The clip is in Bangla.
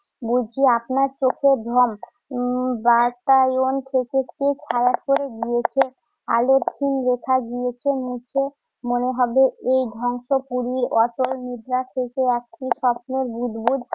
বুঝি আপনার চোখের ভ্রম। উম বাতায়ন থেকে খুব খারাপ করে গিয়েছে, আলোর ক্ষীণ রেখা গিয়েছে নিচে। মনে হবে এই ধ্বংসপুরির অটল নিদ্রা থেকে একটি স্বপ্নের বুদবুদ